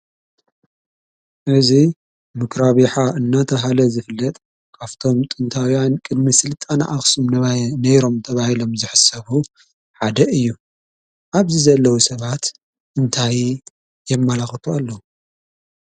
እዚ ምኹራብ ይሓ እናተብሃለ ዝፍለጥ ካብቶም ጥንታዊያን ቅድሚ ስልጣነ አክሱም ነይሮም ተባሂሎም ዝሕሰቡ ሓደ እዩ። አብዚ ዘለው ሰባት እንታይ የመላኽቱ አለው?